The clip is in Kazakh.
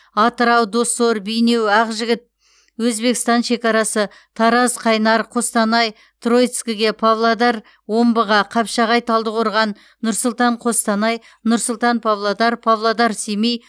атырау доссор бейнеу ақжігіт өзбекстан шекарасы тараз қайнар қостанай троицкіге павлодар омбыға қапшағай талдықорған нұр сұлтан қостанай нұр сұлтан павлодар павлодар семей